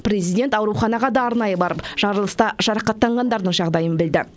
президент ауруханаға да арнайы барып жарылыста жарақаттанғандардың жағдайын білді